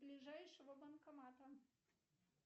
ближайшего банкомата